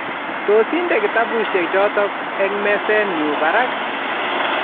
tos inde kitabushek chotok eng mezennyu barak